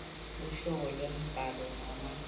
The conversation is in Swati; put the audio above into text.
luhlobo lwembhalo noma